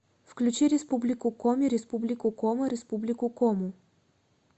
включи республику коми республику кома республику кому